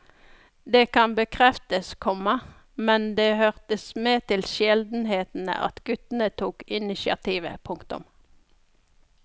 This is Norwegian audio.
Det kan bekreftes, komma men det hørte med til sjeldenhetene at guttene tok initiativet. punktum